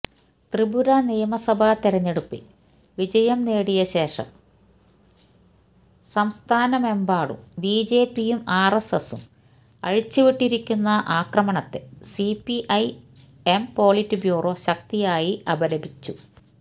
ത്രിപുര നിയമസഭ തെരഞ്ഞെടുപ്പില് വിജയം നേടിയശേഷം സംസ്ഥാനമെമ്പാടും ബിജെപിയും ആര്എസ്എസും അഴിച്ചുവിട്ടിരിക്കുന്ന ആക്രമണത്തെ സിപിഐ എം പൊളിറ്റ്ബ്യൂറോ ശക്തിയായി അപലപിച്ചു